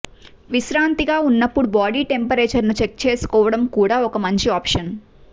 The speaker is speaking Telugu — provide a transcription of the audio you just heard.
విశ్రాంతిగా ఉన్నప్పుడు బాడి టెంపరేచర్ ని చెక్ చేసుకోవడం కూడా ఒక మంచి ఆప్షన్